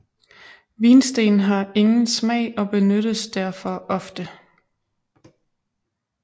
Vinsten har ingen smag og benyttes derfor ofte